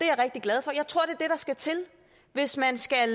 jeg rigtig glad for jeg tror det er skal til hvis man skal